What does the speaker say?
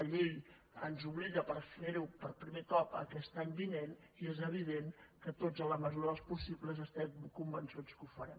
la llei ens obliga a fer ho per primer cop aquest any vinent i és evident que tots en la mesura del possible estem convençuts que ho farem